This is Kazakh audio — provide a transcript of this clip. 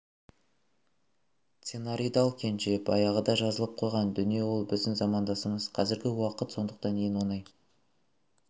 сценарийді ал кенже баяғыда жазылып қойған дүние ол біздің замандасымыз қазіргі уақыт сондықтан ең оңай